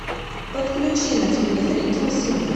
подключи на телевизоре киносемья